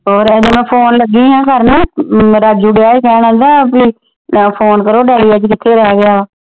ਹੋਰ ਅਜੇ ਮੈ ਫੋਨ ਲੱਗੀ ਹਾ ਕਰਨ ਰਾਜੂ ਦਿਆ ਹੀ ਕਹਿਣ ਆਂਦਾ ਫੋਨ ਕਰੋ ਡੈਡੀ ਅੱਜ ਕਿੱਥੇ ਰਹਿ ਗਿਆ ਵਾ।